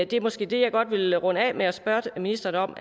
det er måske det jeg godt vil runde af med at spørge ministeren om